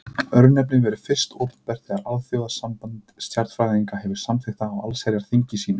Örnefnið verður fyrst opinbert þegar Alþjóðasamband stjarnfræðinga hefur samþykkt það á allsherjarþingi sínu.